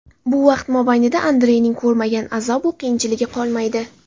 Bu vaqt mobaynida Andreyning ko‘rmagan azob-u qiyinchiligi qolmaydi.